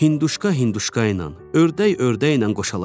Hinduşka hinduşka ilə, ördək ördəklə qoşalaşdı.